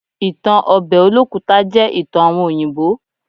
Ìtan obe Olókùta jẹ́ ìtan àwon òyìnbó.